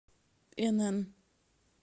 инн